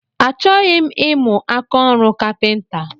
Achọghị m imu ákáọrụ kapinta